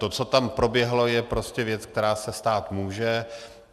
To, co tam proběhlo, je prostě věc, která se stát může.